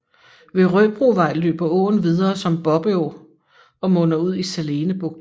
Ved Røbrovej løber åen videre som Bobbeå og munder ud i Salene Bugt